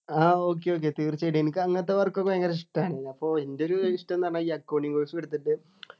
ആഹ് okay okay തീർച്ചയായിട്ടും എനിക്ക് അങ്ങനത്തെ work ഒക്കെ ഭയങ്കര ഇഷ്ടാണ് അപ്പൊ എൻ്റെ ഒരു ഇഷ്ടം ന്നു പറഞ്ഞാ ഈ accounting course എടുത്തിട്ട്